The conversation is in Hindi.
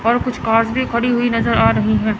और कुछ कार्स भी खड़ी हुई नजर आ रही हैं।